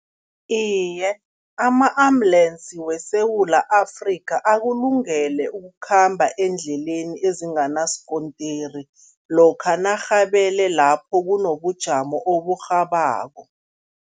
Iye, ama-ambulensi weSewula Afrika akulungele ukukhamba eendleleni ezinganasikontiri, lokha narhabele lapho kunobujamo oburhabako.